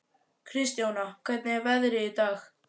Kristjóna, hvernig er veðrið í dag?